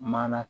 Mana